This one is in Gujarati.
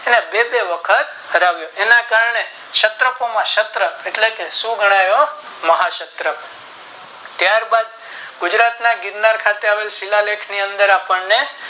પુત્ર બે બે વખત ફરાવ્યો એના કારણે શસ્ત્રપમા શસ્ત્ર એટલે કે શું ગણાયો મહાશસ્ત્ર ત્યાર બાદ ગુજરાત ની અંદર આવેલ આ શિલાલેખ ની અંદર આપણને